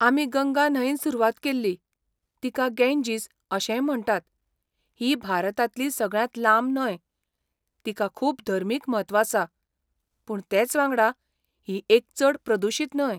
आमी गंगा न्हंयेन सुरवात केल्ली, तिका गेंजीस अशेंय म्हणटात, ही भारतांतली सगळ्यांत लांब न्हंय, तिका खूब धर्मीक म्हत्व आसा, पूण तेच वांगडा ही एक चड प्रदुशीत न्हंय.